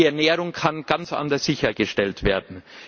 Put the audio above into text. Die Ernährung kann ganz anders sichergestellt werden.